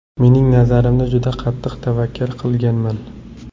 Mening nazarimda juda qattiq tavakkal qilmaganman.